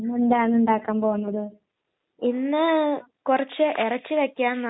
ഇപ്പൊ മുട്ട എക്കെ കൂടുതല് കഴിച്ചാല് അതും നമ്മുടെ ശരീരത്തിന് ദോഷാ